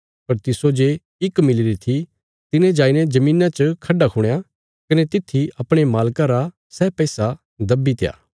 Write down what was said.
पर तिस्सो जे इक मिलीरी थी तिने जाईने धरतिया च खड्डा खुणया कने तित्थी अपणे मालका रा सै पैसा दब्बीत्या